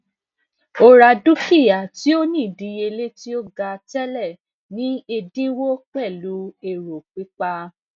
o ra dukia ti o ni idiyele ti o ga tẹlẹ ni ẹdinwo pẹlu ero pipa